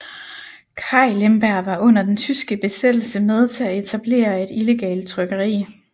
Kai Lemberg var under den tyske besættelse med til at etablere et illegalt trykkeri